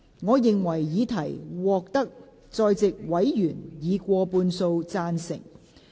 我認為議題獲得在席委員以過半數贊成。